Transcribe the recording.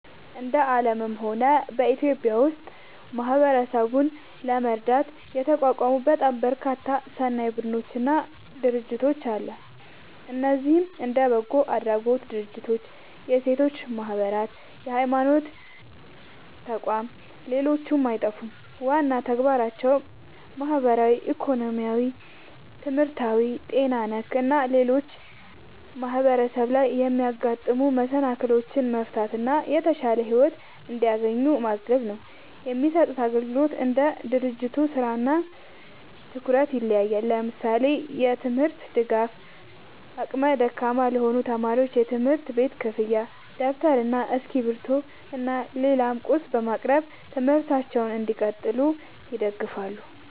እንደ አለምም ሆነ በኢትዮጵያ ውስጥ ማህበረሰብን ለመርዳት የተቋቋሙ በጣም በርካታ ሰናይ ቡድኖች እና ድርጅቶች አለ። እነዚህም እንደ በጎ አድራጎት ድርጅቶች፣ የሴቶች ማህበራት፣ የሀይማኖት ተቋም ሌሎችም አይጠፉም። ዋና ተግባራቸውም ማህበራዊ፣ ኢኮኖሚያዊ፣ ትምህርታዊ፣ ጤና ነክ እና ሌሎችም ማህበረሰብ ላይ የሚያጋጥሙ መሰናክሎችን መፍታት እና የተሻለ ሒወት እንዲያገኙ ማገዝ ነው። የሚሰጡት አግልግሎት እንደ ድርጅቱ ስራ እና ትኩረት ይለያያል። ለምሳሌ፦ የትምርት ድጋፍ አቅመ ደካማ ለሆኑ ተማሪዎች የትምህርት ቤት ክፍያ ደብተር እና እስክሪብቶ እና ሌላም ቁስ በማቅረብ ትምህርታቸውን እንዲቀጥሉ ይደግፋሉ